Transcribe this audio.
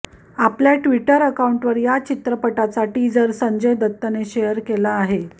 आपल्या ट्विटर अकाऊंटवर या चित्रपटाचा टीजर संजय दत्तने शेअर केला आहे